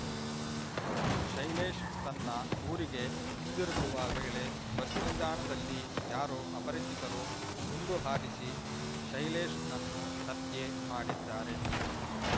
ಶೈಲೇಶ್ ತನ್ನ ಊರಿಗೆ ಹಿಂದಿರುಗುವ ವೇಳೆ ಬಸ್ ನಿಲ್ದಾಣದಲ್ಲಿ ಯಾರೋ ಅಪರಿಚಿತರು ಗುಂಡು ಹಾರಿಸಿ ಶೈಲೇಶ್‌ನನ್ನು ಹತ್ಯೆ ಮಾಡಿದ್ದಾರೆ